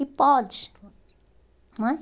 E pode, não é?